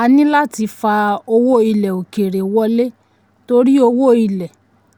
a ní láti fà owó ilẹ̀ òkèèrè wọlé torí owó ilẹ̀